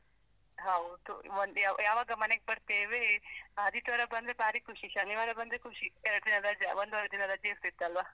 ಹೌದು, ಒಂದು ಯಾವ್~ ಯಾವಾಗ ಮನೆಗೆ ಬರ್ತೇವಿ, ಆದಿತ್ಯವಾರ ಬಂದ್ರೆ ಭಾರೀ ಖುಷಿ, ಶನಿವಾರ ಬಂದ್ರೆ ಖುಷಿ ಎರಡು ದಿನ ರಜಾ, ಒಂದೂವರೆ ದಿನ ರಜೆ ಇರ್ತಿತ್ತಲ್ವಾ?